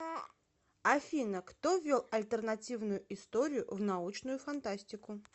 афина кто ввел альтернативную историю в научную фантастику